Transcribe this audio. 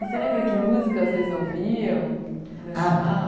E você lembra que música vocês ouviam?